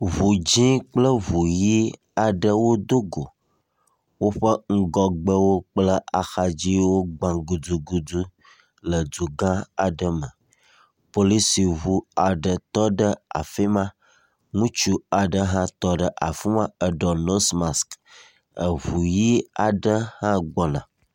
ʋu dzĩ kple ʋu yi aɖewo dógo, wóƒe ŋgɔgbe kple axadziwo gbã gudugudu le dugã aɖe me policiʋu aɖe tɔɖe afima, ŋutsu aɖe hã tɔɖe afima eɖɔ nose mask , eʋu yi aɖe hã gbɔna